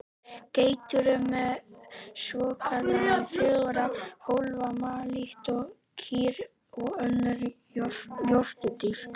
Geitur eru með svokallaðan fjögurra hólfa maga líkt og kýr og önnur jórturdýr.